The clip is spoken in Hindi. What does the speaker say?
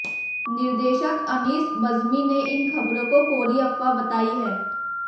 निर्देशक अनीस बज्मी ने इन खबरों को कोरी अफवाह बताई है